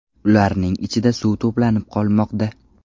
Ularning ichida suv to‘planib qolmoqda.